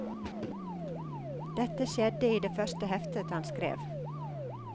Dette skjedde i det første heftet han skrev.